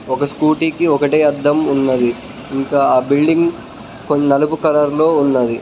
ఒక స్కూటీకి ఒకటే అద్ధం ఉన్నది ఇంకా ఆ బిల్డింగ్ కొన్ని నలుపు కలర్ లో ఉన్నది.